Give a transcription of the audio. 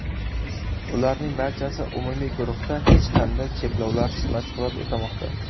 Ularning barchasi umumiy guruhda hech qanday cheklovsiz mashg‘ulot o‘tamoqda.